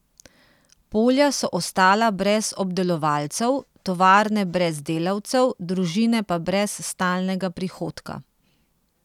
Polja so ostala brez obdelovalcev, tovarne brez delavcev, družine pa brez stalnega prihodka.